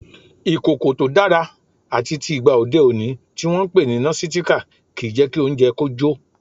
Ìkòkò tó dára àtitì ìgba òde òní tí wọn ń pè ní Nọ́sitikì kì í jẹ́ kí oúnjẹ kó jó.